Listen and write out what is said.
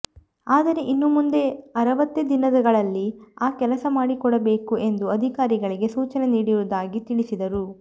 ಆದರೆ ಇನ್ನು ಮುಂದೆ ಅರವತ್ತೇ ದಿನಗಳಲ್ಲಿ ಆ ಕೆಲಸಮಾಡಿಕೊಡಬೇಕು ಎಂದು ಅಧಿಕಾರಿಗಳಿಗೆ ಸೂಚನೆ ನೀಡಿರುವುದಾಗಿ ತಿಳಿಸಿದರು